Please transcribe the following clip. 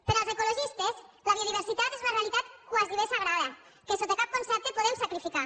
per als ecologistes la biodiversitat és una realitat gairebé sagrada que sota cap concepte podem sacrificar